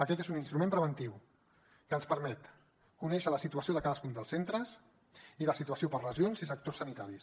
aquest és un instrument preventiu que ens permet conèixer la situació de cadascun dels centres i la situació per regions i sectors sanitaris